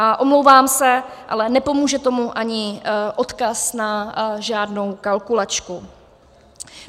A omlouvám se, ale nepomůže tomu ani odkaz na žádnou kalkulačku.